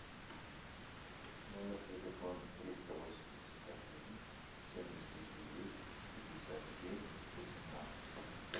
номер телефона триста восемьдесят один семьдесят девять пятьдесят семь восемнадцать